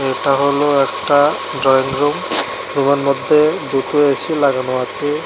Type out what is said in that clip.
এটা হল একটা ড্রয়িং রুম রুমের মধ্যে দুটো এ_সি লাগানো আছে।